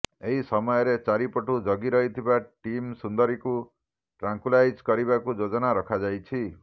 ଏହି ସମୟରେ ଚାରିପଟୁ ଜଗି ରହିଥିବା ଟିମ ସୁନ୍ଦରୀକୁ ଟ୍ରାଙ୍କୁଲାଇଜ କରିବାକୁ ଯୋଜନା ରଖାଯାଇଛି